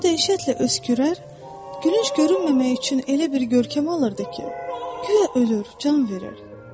O dəhşətlə öskürər, gülünc görünməmək üçün elə bir görkəm alırdı ki, guya ölür, can verir.